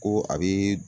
Ko a bɛ